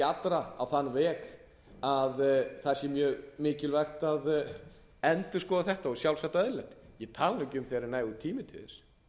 allra á þann veg að það sé mjög mikilvægt að endurskoða þetta og sjálfsagt eðlilegt ég tala ekki um þegar er nægur tími til þess því það